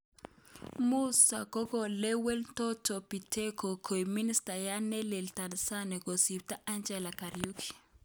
Musa kokolewen Doto Biteko koik ministayat nelel Tanzania kosipto Anjela Kariuki.